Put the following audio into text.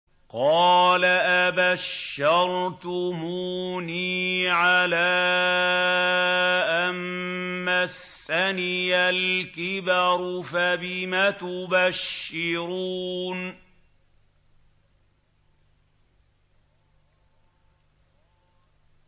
قَالَ أَبَشَّرْتُمُونِي عَلَىٰ أَن مَّسَّنِيَ الْكِبَرُ فَبِمَ تُبَشِّرُونَ